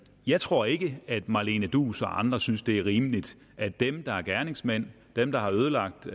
jeg tror ikke at marlene duus og andre synes det er rimeligt at dem der er gerningsmænd dem der har ødelagt